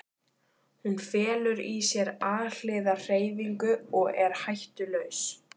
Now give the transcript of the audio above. Hún felur í sér alhliða hreyfingu og er hættulaus.